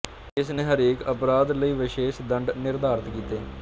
ਇਸ ਨੇ ਹਰੇਕ ਅਪਰਾਧ ਲਈ ਵਿਸ਼ੇਸ਼ ਦੰਡ ਨਿਰਧਾਰਤ ਕੀਤੇ